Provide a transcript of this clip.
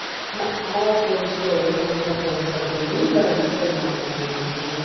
না আমার পরিচিত ঐরকম friend circle নেই যারা digital marketing,